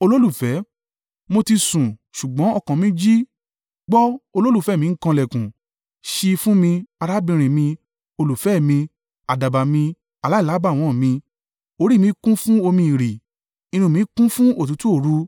Mo ti sùn ṣùgbọ́n ọkàn mi jí. Gbọ́! Olólùfẹ́ mi ń kan ìlẹ̀kùn. “Ṣí i fún mi, arábìnrin mi, olùfẹ́ mi, àdàbà mi, aláìlábàwọ́n mi, orí mi kún fún omi ìrì, irun mi kún fún òtútù òru.”